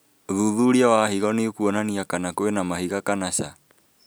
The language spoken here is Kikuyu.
ũthuthuria wa higo nĩũkuonania kana kwĩna mahiga kana ca